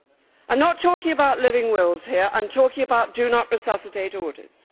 I am not talking about living wills here, I am talking about Do Not Resuscitate orders.